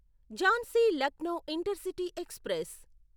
Jhansi Lucknow intercity express